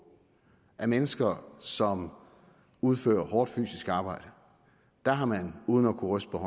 af mennesker som udfører hårdt fysisk arbejde har man uden at ryste